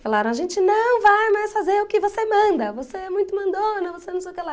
Falaram, a gente não vai mais fazer o que você manda, você é muito mandona, você não sei o que lá.